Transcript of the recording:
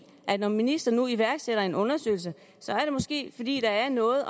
at når ministeren nu iværksætter en undersøgelse så er det måske fordi der er noget at